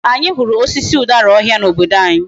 Ee, anyi huru osisi udara ohia na obodo anyi